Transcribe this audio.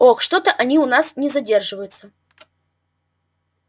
ох что-то они у нас не задерживаются